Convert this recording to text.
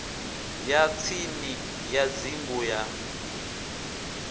ya tsini ya dzingu ya